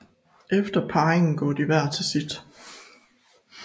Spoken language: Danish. Efter parringen går de hver til sit